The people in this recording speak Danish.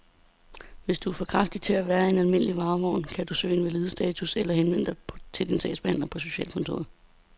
Hvis du er for kraftig til at være i en almindelig varevogn, kan du kan søge invalidestatus eller henvende dig til din sagsbehandler på socialkontoret.